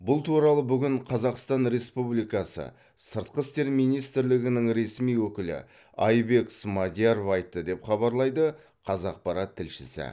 бұл туралы бүгін қазақстан республикасы сыртқы істер министрлігінің ресми өкілі айбек смадияров айтты деп хабарлайды қазақпарат тілшісі